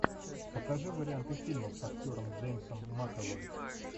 покажи варианты фильмов с актером джеймсом макэвой